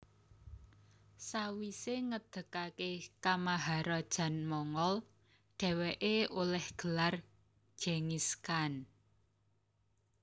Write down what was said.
Sawisé ngedegaké kamaharajan Mongol dhèwèké olèh gelar Genghis Khan